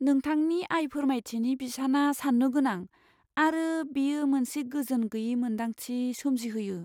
नोंथांनि आय फोरमायथिनि बिसाना सान्नो गोनां, आरो बेयो मोनसे गोजोन गैयै मोन्दांथि सोमजिहोयो।